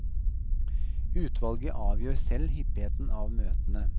Utvalget avgjør selv hyppigheten av møtene.